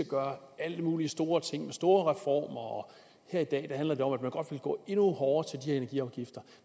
gøre alle mulige store ting med store og her i dag handler det om at man godt vil gå endnu hårdere til de her energiafgifter